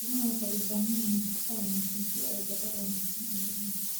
Idaha waxay u baahan yihiin nafaqo wanaagsan si ay dhogor wanaagsan u helaan.